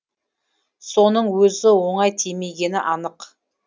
соның өзі оңай тимегені анық